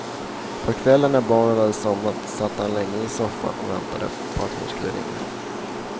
På kvällen när barnen hade somnat satt han länge i soffan och väntade på att hon skulle ringa.